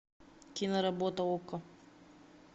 киноработа окко